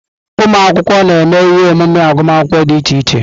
Ụmụ akwụkwọ na-eme ihe omume agụmakwụkwọ dị iche iche.